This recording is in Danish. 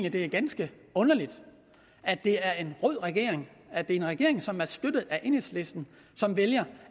at det er ganske underligt at det er en rød regering at det er en regering som er støttet af enhedslisten som vælger